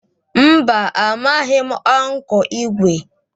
Mba, amaghị m Ụnkụ Igwe